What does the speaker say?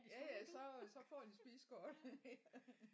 Jaja så øh så får de spisekortet